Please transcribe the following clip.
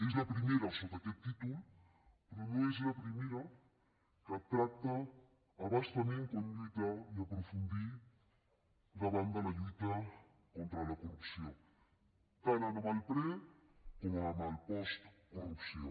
és la primera amb aquest títol però no és la primera que tracta a bastament com lluitar i aprofundir davant de la lluita contra la corrupció tant en el pre com en el post corrupció